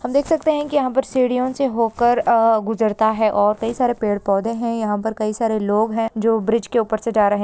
हम देख सकते हैं कि यहां पर सीढ़ियों से होकर आ गुजरता है और कई सारे पेड़-पौधे हैं यहां पर कई सारे लोग हैं जो ब्रिज के ऊपर से जा रहे हैं।